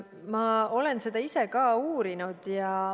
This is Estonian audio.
Ma olen seda ise ka uurinud.